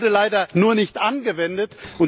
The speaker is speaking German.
Sie wurde leider nur nicht angewendet.